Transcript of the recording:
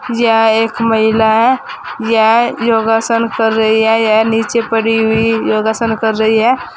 यह एक महिला है यह योगासन कर रही है यह नीचे पड़ी हुई योगासन कर रही है।